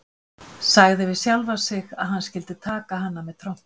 Sagði við sjálfan sig að hann skyldi taka hana með trompi.